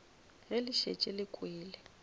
ge le šetše le kwele